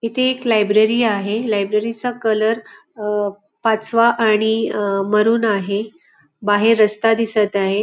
इथे एक लायब्ररी आहे लायब्ररी चा कलर अह पाचवा आणि अह मरून आहे बाहेर रस्ता दिसत आहे.